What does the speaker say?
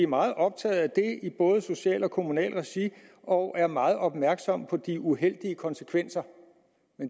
meget optaget af det i både socialt og kommunalt regi og er meget opmærksom på de uheldige konsekvenser